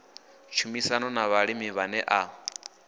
tshumisano na vhalimi vhane a